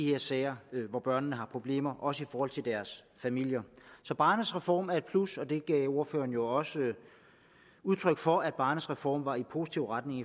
her sager hvor børnene har problemer også i forhold til deres familier så barnets reform er et plus og det gav ordføreren jo også udtryk for at barnets reform var i positiv retning